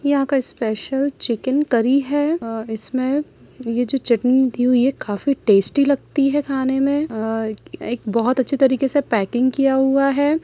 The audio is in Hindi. यहाँ का स्पेशल चिकन करी है आ इसमें ये जो चटनी दी हुई है काफी टेस्टी लगती है खाने में आ एक बहुत अच्छे तरीके से पैकिंग किया हुआ है।